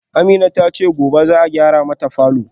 Amina tace gobe za'a gyara mata falor